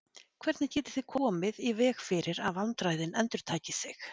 Hvernig getið þið komið í veg fyrir að vandræðin endurtaki sig?